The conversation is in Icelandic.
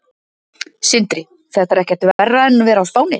Sindri: Þetta er ekkert verra en að vera á Spáni?